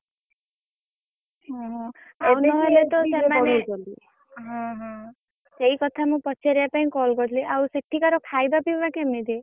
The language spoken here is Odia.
ଓହୋ ସେମାନେ ହଁ ହଁ ସେଇ କଥା ମୁଁ ପଚାରିବା ପାଇଁ call କରିଥିଲି। ଆଉ ସେଠିକାର ଖାଇବା ପିଇବା କେମିତି?